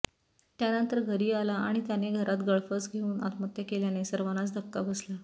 त्यानंतर घरी आला आणि त्याने घरात गळफस घेऊन आत्महत्या केल्याने सर्वांनाच धक्क बसला